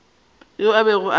yoo a bego a sa